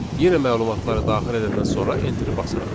Yenə məlumatları daxil edəndən sonra enteri basırıq.